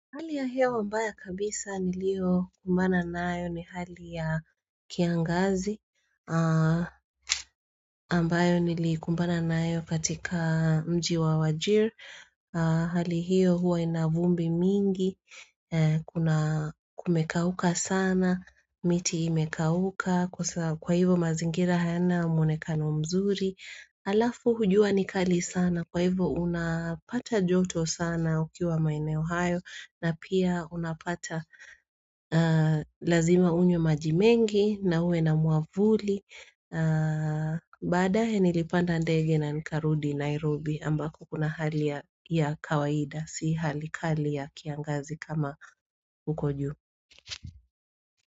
Hali ya hewa mbaya kabisa nilio kumbana nayo ni hali ya kiangazi, ambayo nilikumbana nayo katika mji wa wajir. Hali hiyo huwa inavumbi mingi, kuna kumekauka sana, miti imekauka, kwa hivo mazingira hayana mwonekano mzuri. Alafu jua nikali sana kwa hivo unapata joto sana ukiwa maeneo hayo na pia unapata lazima unywe majimengi na ue na mwavuli Badae nilipanda ndege na nikarudi Nairobi ambako kuna hali ya kawaida si hali kali ya kiangazi kama huko juu.